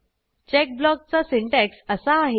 check ब्लॉकचा syntax असा आहे